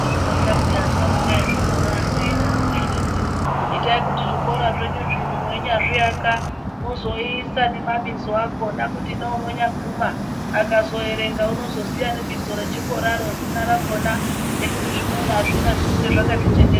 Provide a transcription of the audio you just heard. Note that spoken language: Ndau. Kaizvironza peyaaa asharuka ezvikora ano eiti, itai kuti zvikora zvenyu zvino mweinyazviaka mwozoisa nemabizo akhona. Kuti neunonyaguma akazoerenga. Unozoziya zina rakhona nekuti zvimweni azvina zvinenge zvakati chenenga.